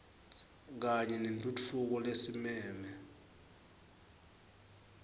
kanye nentfutfuko lesimeme